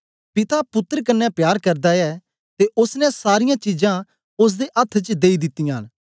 पिता पुत्तर कन्ने प्यार करदा ऐ ते ओसने सारीयां चीजां ओसदे अथ्थ च देई दितीयां न